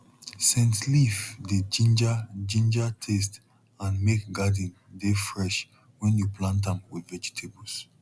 scent leaf dey ginger ginger taste and make garden dey fresh when you plant am with vegetables